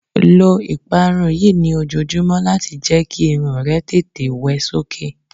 lọ ìparun yìí ni ojojumọ lati jẹ ki irun rẹ tètè wẹ sókè